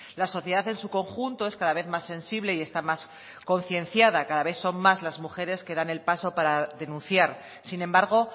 la sociedad en su conjunto es cada vez más sensible y está más concienciada cada vez son más las mujeres que dan el paso para denunciar sin embargo